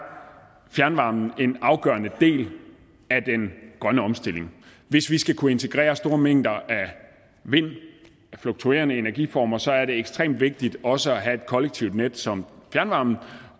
fjernvarmen en afgørende del af den grønne omstilling hvis vi skal kunne integrere store mængder af vind af fluktuerende energiformer så er det ekstremt vigtigt også at have et kollektivt net som fjernvarmen